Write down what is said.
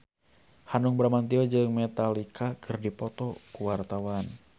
Hanung Bramantyo jeung Metallica keur dipoto ku wartawan